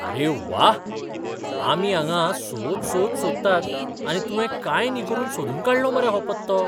अरे व्वा, आमी हांगां सोद सोद सोदतात आनी तुवें कांय न्ही करून सोदून काडलो मरे हो पत्तो!